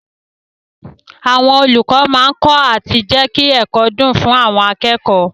Àwọn olùkọ́ máa kọ́ àti jẹ́kí ẹ̀kọ́ dùn fún àwọn akẹ́kọ̀ọ́.